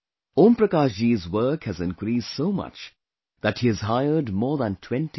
Om Prakash ji's work has increased so much that he has hired more than 20 people